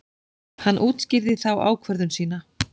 Hann útskýrði þá ákvörðun sína.